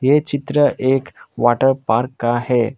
ये चित्र एक वाटर पार्क का है।